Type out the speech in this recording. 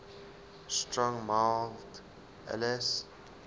strong mild ales